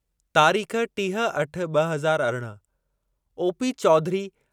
तारीख़ टीह अठ ॿ हज़ार अरिड़हं ओपी चौधरी